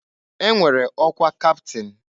E nwere ọkwa kaptịn.